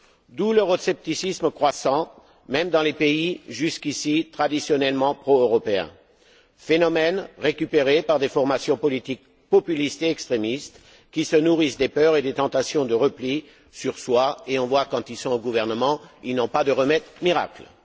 D'où l'euroscepticisme croissant même dans les pays jusqu'ici traditionnellement pro européens, phénomène récupéré par des formations politiques populistes et extrémistes qui se nourrissent des peurs et des tentations de repli sur soi, et qui, quand elles sont au gouvernement, n'ont pas de remède miracle.